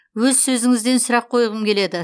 өз сөзіңізден сұрақ қойғым келеді